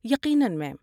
یقیناً، میم۔